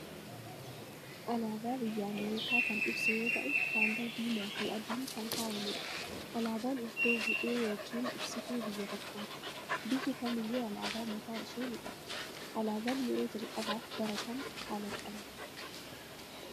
Alaabaa biyya Ameerikaa kan ibsu yoo ta'u, haalluu diimaa fi adiin kan faayame dha. Alaabaan iddoo bu'ee yookiin ibsituu biyya tokkooti. Biyyi kamiyyuu alaabaa mataa ishee ni qabdi. Alaabaan yeroo jalqabaaf bara Kam kalaqamee ?